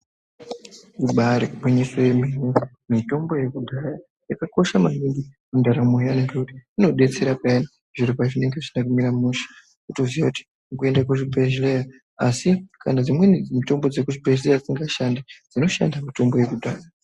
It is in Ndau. Ibaaro gwinyiso yemene, mitombo yekudhaya yakakosha maningi mundaramo yedu inodetsera peyani zviro pazvinenge zvisina kumira mushe unotoziya kuti kuende kuchibhedhleya ASI kana dzimweni mitombo yekuzvibhedhleya isingashand kunoshanda yekudhaya.